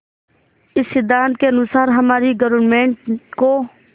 इस सिद्धांत के अनुसार हमारी गवर्नमेंट को